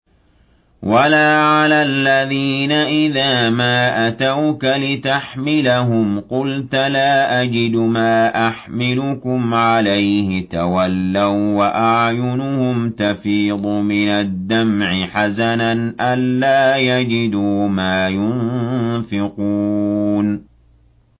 وَلَا عَلَى الَّذِينَ إِذَا مَا أَتَوْكَ لِتَحْمِلَهُمْ قُلْتَ لَا أَجِدُ مَا أَحْمِلُكُمْ عَلَيْهِ تَوَلَّوا وَّأَعْيُنُهُمْ تَفِيضُ مِنَ الدَّمْعِ حَزَنًا أَلَّا يَجِدُوا مَا يُنفِقُونَ